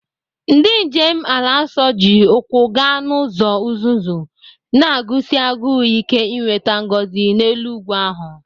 Ndị njem ala nsọ ji ụkwụ gaa n'ụzọ uzuzu, na-agụsi agụụ ike inweta ngọzi n'elu ugwu ahụ.